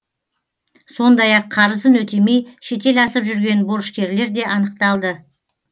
сондай ақ қарызын өтемей шетел асып жүрген борышкерлер де анықталды